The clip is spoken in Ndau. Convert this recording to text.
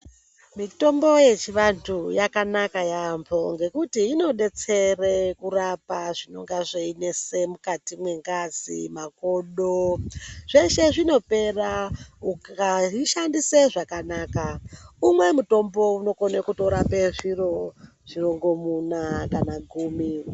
Mitombo yechivantu yakanaka yaambo ngekuti inobetsere kurapa zvinonga zveinese mukati mengazi, makodo zveshe zvinopera ukazvishandise zvakanaka. Umwe mutombo unokona kutorape zviro zvirongomuna kana gumi.